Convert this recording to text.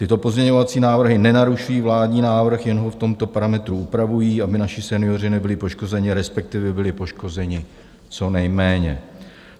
Tyto pozměňovací návrhy nenarušují vládní návrh, jen ho v tomto parametru upravují, aby naši senioři nebyli poškozeni, respektive byli poškozeni co nejméně.